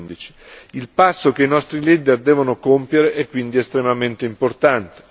2015. Il passo che i nostri leader devono compiere è quindi estremamente importate.